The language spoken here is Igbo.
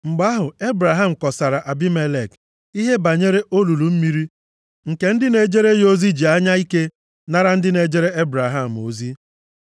Mgbe ahụ, Ebraham kọsaara Abimelek ihe banyere olulu mmiri nke ndị na-ejere ya ozi ji anya ike nara ndị na-ejere Ebraham ozi.